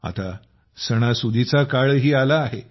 आता सणांचा मौसमही आला आहे